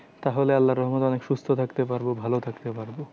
তাহলে আল্লা রহমতে অনেক সুস্থ থাকতে পারবো ভালো থাকতে পারবো।